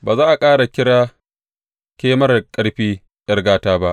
Ba za a ƙara kira ke marar ƙarfi ’yar gata ba.